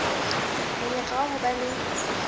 monyetla wa ho ba le